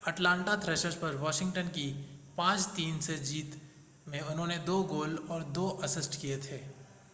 Atlanta Thrashers पर Washington की 5-3 की जीत में उन्होंने 2 गोल और 2 असिस्ट किए थे